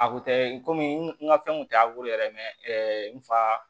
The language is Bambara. A kun tɛ komi n ka fɛnw kun tɛ yɛrɛ n fa